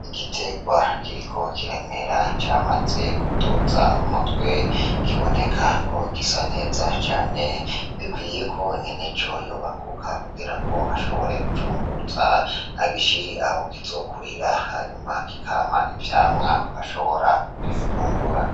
Igiterwa kiriko kiramera camaze kuduza umutwe kiboneka ko gisa neza cane, gikwiye ko nyeneco yohaguruka ashabore kucunguruza agishire aho kizokurira, hama kikama icamwa ashobora gufungura.